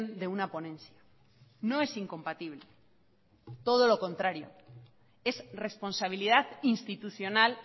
de una ponencia no es incompatible todo lo contrario es responsabilidad institucional